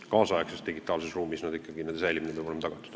Kaasaegses digitaalses ruumis peab nende säilimine olema ikkagi tagatud.